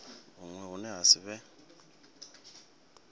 huṅwe hune ha si vhe